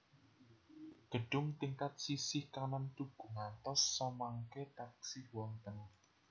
Gedhung tingkat sisih kanan tugu ngantos samangke taksih wonten